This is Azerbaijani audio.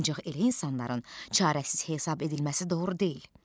Ancaq elə insanların çarəsiz hesab edilməsi doğru deyil.